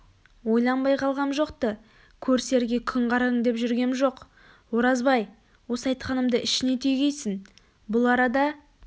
ойланбай қалғам жоқ-ты көрісерге күн қараң деп жүргем жоқ оразбай осы айтқанымды ішіңе түйгейсің бұл арада